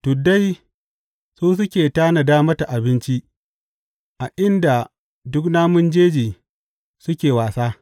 Tuddai su suke tanada mata abinci a inda duk namun jeji suke wasa.